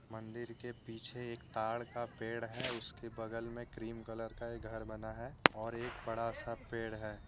मंदिर के पीछे एक तार का पेड़ है उसके बगल में क्रीम कलर का एक घर बना है और एक बड़ा सा पेड़ है।